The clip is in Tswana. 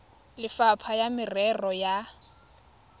le lefapha la merero ya